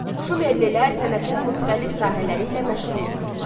Şumerlilər sənətin müxtəlif sahələri ilə məşğul olurdular.